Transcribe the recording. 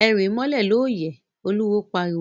E ríí mólè lóóyè! Oluwo pariwo!